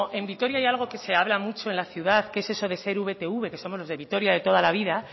en vitoria hay algo que se habla mucho en la ciudad que es eso de ser vtv que somos los de vitoria de toda la vida